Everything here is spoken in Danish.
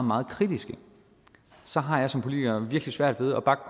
meget kritiske så har jeg som politiker virkelig svært ved at bakke